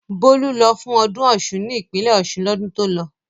Bólú lọ fún ọdún Ọ̀ṣun ní ìpínlẹ̀ Ọ̀ṣun lọ́dún tó lọ.